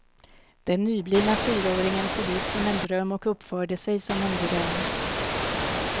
Den nyblivna fyraåringen såg ut som en dröm och uppförde sig som en dröm.